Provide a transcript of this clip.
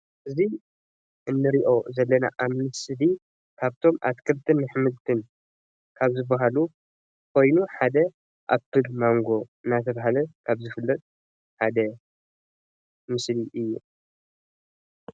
እዚ እንሪኦም ዘለና ኣብ ምስሊ ካብቶም ኣትክልትን ኣሕምልትን ካብ ዝባሃሉ ኮይኑ ሓደ ኣምፕል ማንጎ እንዳተባሃለ ካብ ዝፍለጥ ሓደ ምስሊ እዩ፡፡